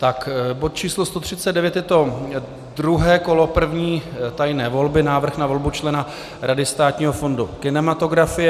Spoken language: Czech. Tak bod číslo 139, je to druhé kolo první tajné volby, návrh na volbu člena Rady Státního fondu kinematografie.